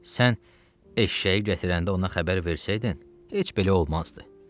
Sən eşşəyi gətirəndə ona xəbər versəydin, heç belə olmazdı.